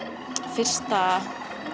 fyrsta